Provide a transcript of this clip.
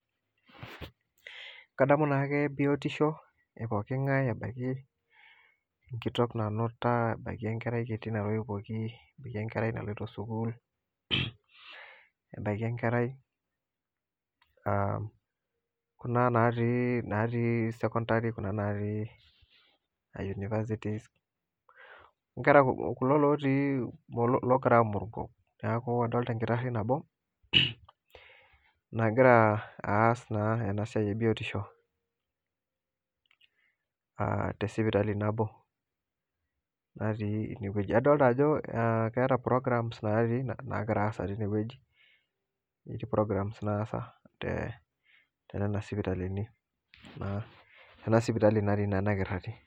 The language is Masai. Kadamu naake biotisho e pookin ngae ebaiki enkitok nanuta ebaiki enkerai kiti natoyiwuoki ebaiki enkerai naloito sukuul ebaiki enkerai kuna natii secondary aah universities kulo logira aa muruko neeku adolita enkitari nabo nagira aas naa ena siai e biotisho ah te sipitali nabo natii ene weuji adolita ajo ah ketaa programs nagira aasa tinewueji eti programs naasa tenena sipitalini tena sipitali natii naa ena kitari